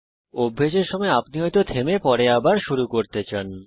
অভ্যেসের সময় আপনি হয়তো থামতে চান এবং পরে আবার শুরু করতে চান